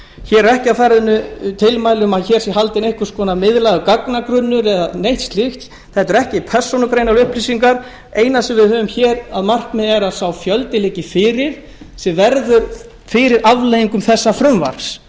hér eru ekki á ferðinni tilmæli um að hér sé haldinn einhvers konar miðlægur gagnagrunnur eða neitt slíkt þetta eru ekki persónugreinanlegar upplýsingar hið eina sem við höfum hér að markmiði er að sá fjöldi liggi fyrir sem verður fyrir afleiðingum þessa frumvarps